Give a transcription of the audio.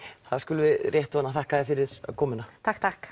það skulum við rétt vona þakka þér fyrir komuna takk takk